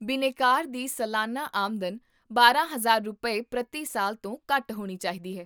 ਬਿਨੈਕਾਰ ਦੀ ਸਾਲਾਨਾ ਆਮਦਨ ਬਾਰਾਂ ਹਜ਼ਾਰ ਰੁਪਏ, ਪ੍ਰਤੀ ਸਾਲ ਤੋਂ ਘੱਟ ਹੋਣੀ ਚਾਹੀਦੀ ਹੈ